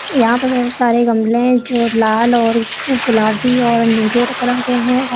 यहां पर बहुत सारे गमले हैं जो लाल और गुलाबी और नीले कलर के हैं और--